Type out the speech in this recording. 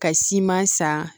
Ka siman san